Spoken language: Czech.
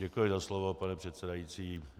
Děkuji za slovo, pane předsedající.